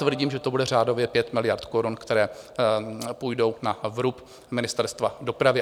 Tvrdím, že to bude řádově 5 miliard korun, které půjdou na vrub Ministerstva dopravy.